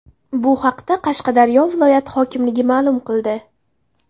Bu haqda Qashqadaryo viloyati hokimligi ma’lum qildi .